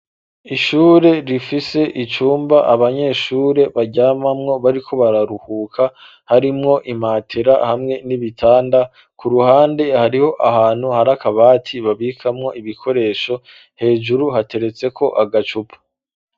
Ishure rifise icumba abanyeshure baryamamwo bariko bararuhuka harimwo impatera hamwe n'ibitanda ku ruhande hariho ahantu harakabati babikamwo ibikoresho hejuru hateretse ko agacupa.